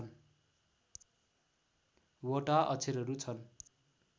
वटा अक्षरहरू छन्